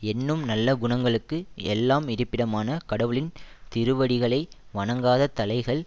எண்ணும் நல்ல குணங்களுக்கு எல்லாம் இருப்பிடமான கடவுளின் திருவடிகளை வணங்காத தலைகள்